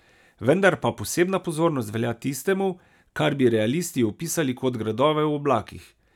Vendar pa posebna pozornost velja tistemu, kar bi realisti opisali kot gradove v oblakih.